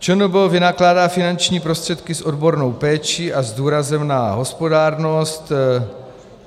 ČNB vynakládá finanční prostředky s odbornou péčí a s důrazem na hospodárnost.